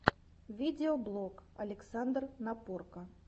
видеоблог александр напорко